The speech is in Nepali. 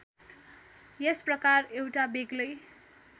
यस प्रकार एउटा बेग्लै